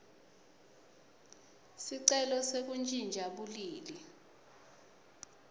sicelo sekuntjintja bulili